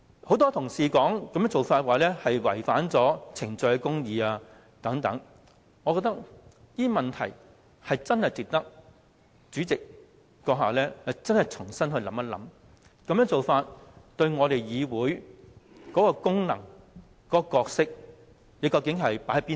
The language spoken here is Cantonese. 很多同事說這做法違反程序公義，我覺得這些意見值得主席閣下深思，並重新考慮你究竟將議會的功能和角色放在哪個位置上？